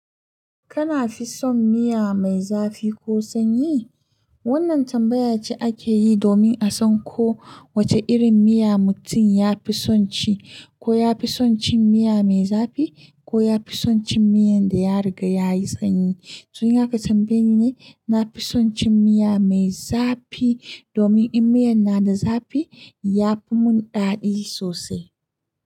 Kana fi son miya mai zafi ko sanyi? Wannan tambaya ce ake yi domin a san ko, wace irin miya mutum ya fi son ci. Ko ya fi son cin miya mai zafi ko ya fi son cin miyan da ya riga ya yi sanyi. Toh in aka tambaye ni ne, na fi son cin miya mai zafi domin in miyan na da zafi ya fi mun daɗi sosai.